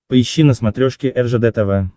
поищи на смотрешке ржд тв